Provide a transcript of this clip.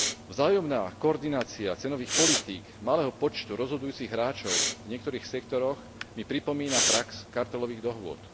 Vzájomná koordinácia cenových politík malého počtu rozhodujúcich hráčov v niektorých sektoroch mi pripomína prax kartelových dohôd.